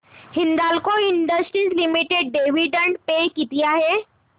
Hindalco industries limited dividend pay किती आहे